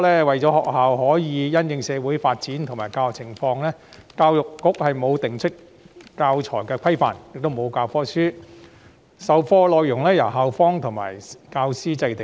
為了讓學校因應社會發展及教學情況授課，教育局最初沒有制訂教材規範，也沒有教科書，授課內容是由校方及教師制訂。